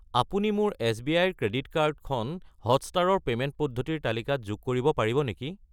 আপুনি মোৰ এছ.বি.আই. ৰ ক্ৰেডিট কাৰ্ড খন হটষ্টাৰ ৰ পে'মেণ্ট পদ্ধতিৰ তালিকাত যোগ কৰিব পাৰিব নেকি?